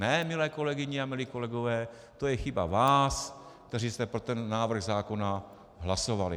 Ne, milé kolegyně a milí kolegové, to je chyba vás, kteří jste pro ten návrh zákona hlasovali!